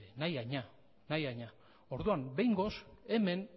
nahi haina orduan behingoz hemen